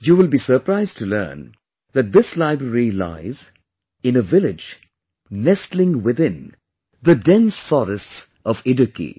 You will be surprised to learn that this library lies in a village nestling within the dense forests of Idukki